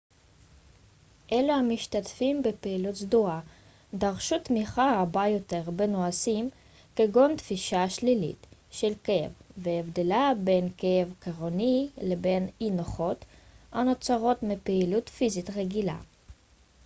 אלו המשתתפים בפעילות סדורה דרשו תמיכה רבה יותר בנושאים כגון תפישה שלילית של כאב והבדלה בין כאב כרוני לבין אי-נוחות הנוצרת מפעילות פיזית רגילה